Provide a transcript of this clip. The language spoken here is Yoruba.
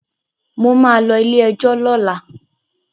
Mo ma lọ ilé-ẹjọ̀ lọ́la